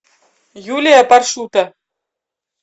юлия паршута